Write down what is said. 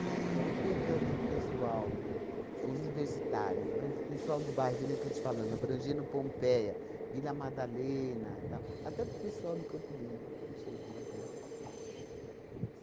E pegando o pessoal, os universitários, mais o pessoal do bairro, que nem estou te falando, abrangendo Pompeia, Vila Madalena, tal, até o pessoal do Campo Limpo chegou a vim.